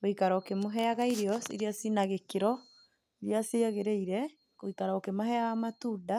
Gũikara ũkĩmũheaga irio iria cina gĩkĩro, iria ciagĩrĩire, gũikara ũkĩmaheaga matunda,